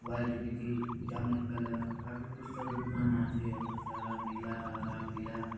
व्हाइट बीतिन जामुन कलर काफी पुस्तक दुकान आचे अतक सारा नीला हरा पीला--